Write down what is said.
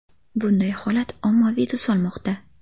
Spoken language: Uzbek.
Bunday holat ommaviy tus olmoqda.